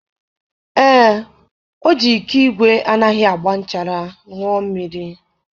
Ee, o ji iko igwe anaghị agba nchara ṅụọ mmiri.